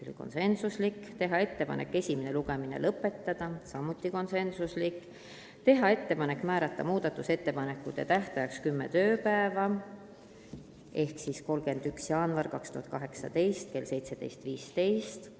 Teiseks, teha ettepanek esimene lugemine lõpetada ja määrata muudatusettepanekute tähtajaks kümme tööpäeva ehk siis 31. jaanuar 2018 kell 17.15.